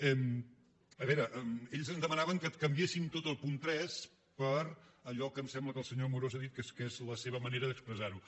a veure ells ens demanaven que canviéssim tot el punt tres per allò que em sembla que el senyor amorós ha dit que és que és la seva manera d’expressar ho